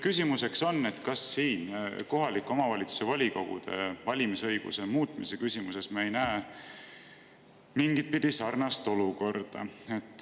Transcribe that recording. Küsimus on see, kas kohaliku omavalitsuse volikogude valimise õiguse muutmise küsimuses me ei näe mingitpidi sarnast olukorda.